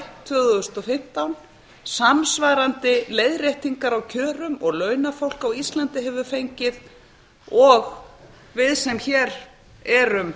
tvö þúsund og fimmtán samsvarandi leiðréttingar á kjörum og launafólk á íslandi hefur fengið og við sem hér erum